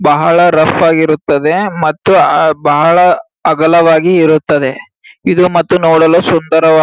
ಬಹಳ ರಫ್ ಆಗಿರುತ್ತದೆ ಮತ್ತೆ ಅಹ್ ಬಹಳ ಅಗಲವಾಗಿ ಇರುತ್ತದೆ ಇದು ಮತ್ತು ನೋಡಲು ಸುಂದರವಾಗಿ.